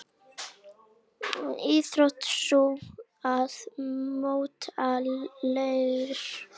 Íþrótt sú að móta leir.